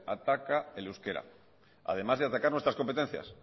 ataca el euskera además de atacar nuestras competencias